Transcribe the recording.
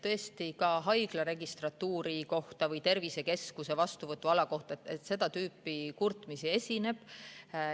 Tõesti, ka haigla registratuuri või tervisekeskuse vastuvõtuala kohta seda tüüpi kurtmisi esineb.